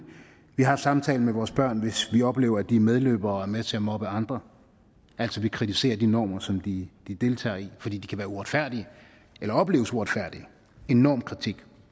vi har en samtale med vores børn hvis vi oplever at de er medløbere og er med til at moppe andre altså vi kritiserer de normer som de deltager i fordi de kan være uretfærdige eller opleves som uretfærdige en normkritik